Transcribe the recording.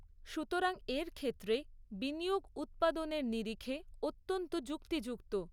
সুতরাং এর ক্ষেত্রে বিনিয়োগ উৎপাদনের নিরিখে অত্যন্ত যুক্তিযুক্ত।